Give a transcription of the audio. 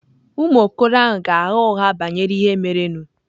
Ụmụ okoro ahụ ga-agha ụgha banyere ihe merenụ.